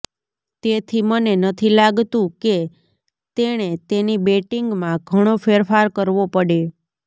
તેથી મને નથી લાગતું કે તેણે તેની બેટિંગમાં ઘણો ફેરફાર કરવો પડે